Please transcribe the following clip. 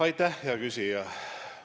Aitäh, hea küsija!